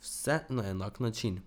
Vse na enak način.